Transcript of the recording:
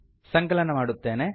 ಸಂಕಲನ ಮಾಡುತ್ತೇನೆ